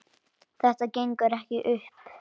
Þetta gengur ekki upp.